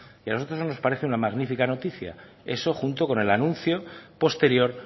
y a nosotros nos parece una magnífica noticia eso junto con el anuncio posterior